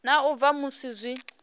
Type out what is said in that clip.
na u bva musi zwi